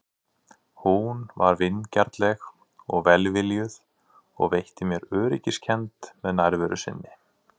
Hún var vingjarnleg og velviljuð og veitti mér öryggiskennd með nærveru sinni.